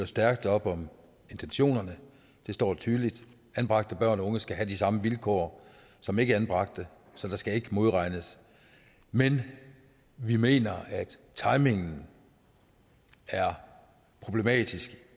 stærkt op om intentionerne der står tydeligt at anbragte børn og unge skal have de samme vilkår som ikkeanbragte så der skal ikke modregnes men vi mener at timingen er problematisk